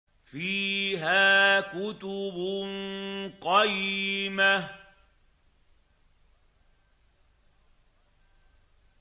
فِيهَا كُتُبٌ قَيِّمَةٌ